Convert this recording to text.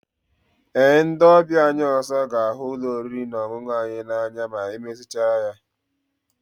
Ee, ndị ọbịa anyị ọzọ ga-ahụ ụlọ oriri na ọṅụṅụ a n'anya ma emezigharịchaa ya